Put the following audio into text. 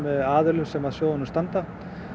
aðilum sem að sjóðinum standa